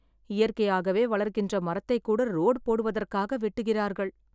இயற்கையாகவே வளர்கின்ற மரத்தை கூட ரோட் போடுவதற்காக வெட்டுகிறார்கள்